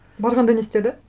барғанда не істеді